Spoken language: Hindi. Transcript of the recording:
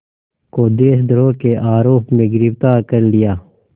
को देशद्रोह के आरोप में गिरफ़्तार कर लिया